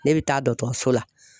Ne bɛ taa dɔtɔrɔso la.